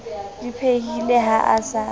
di phehileng ha a sa